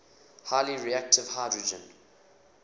highly reactive hydrogen